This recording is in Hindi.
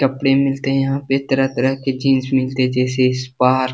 कपड़े मिलते हैं यहाँ पे तरह-तरह के जींस मिलते हैं जैसे स्पार --